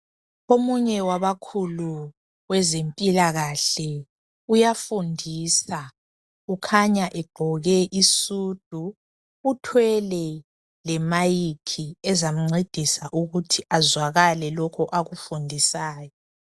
Omunye wabakhulu kwezempilakahle uyafundisa kukhanya egqoke isudu uthwele le mayikhi ezamcedisa ukuthi azwakale lokho akufundisayo.